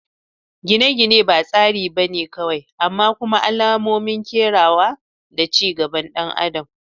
Gine-gine ba tsari ba ne kawai amma kuma alamomin kerawa da ci gaban ɗan adam